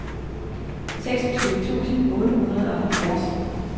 seksogtyve tusind otte hundrede og halvfjerds